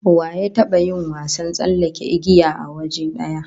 Wa ya taba yin wasan tsallake igiya a waje daya?